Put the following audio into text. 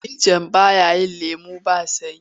Firinjin ba ya yi lemon ba sanyi.